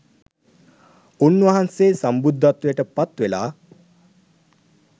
උන්වන්සේ සම්බුද්ධත්වයට පත්වෙලා